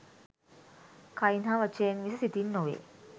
කයින් හා වචනයෙන් මිස සිතින් නොවේ.